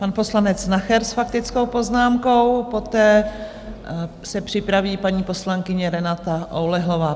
Pan poslanec Nacher s faktickou poznámkou, poté se připraví paní poslankyně Renata Oulehlová.